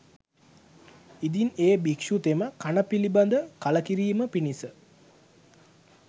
ඉදින් එ භික්‍ෂුතෙම කණ පිළිබඳ කලකිරීම පිණිස